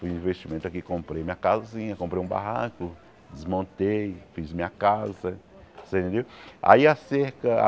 Fui investimento aqui, comprei minha casinha, comprei um barranco, desmontei, fiz minha casa, você entendeu? Aí a cerca